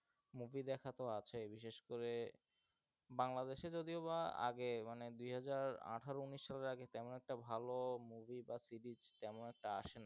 movie দেখা তো আছেই বিশেষ করে, বাংলা দেশে যদিও বা আগে মানে দু হাজার আঠারো উনিশ সালের আগে তেমন একটা ভালো movie বা series তেমন একটা আসে নাই.